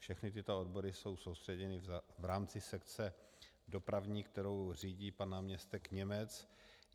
Všechny tyto odbory jsou soustředěny v rámci sekce dopravní, kterou řídí pan náměstek Němec.